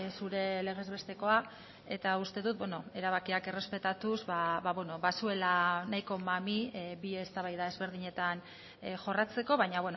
zure legez bestekoa eta uste dut erabakiak errespetatuz bazuela nahiko mami bi eztabaida ezberdinetan jorratzeko baina